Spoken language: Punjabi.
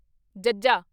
ਜੱਜਾ